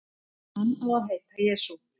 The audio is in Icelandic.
Hann á að heita Jesú.